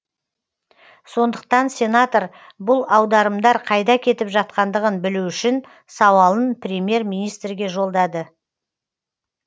сондықтан сенатор бұл аударымдар қайда кетіп жатқандығын білу үшін сауалын премьер министрге жолдады